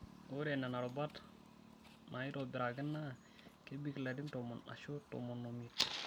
Ore nena rubat naitobiraki naa kebik larin tomon aashu tomon omiet.